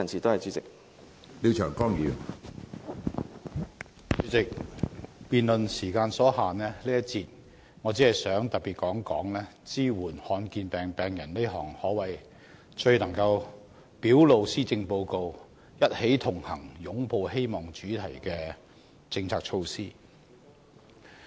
主席，由於辯論時間所限，我在這一節只想談一談支援罕見疾病病人這項最能表露施政報告"一起同行、擁抱希望"主題的政策措施。